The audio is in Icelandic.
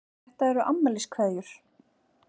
Þetta eru afmæliskveðjur.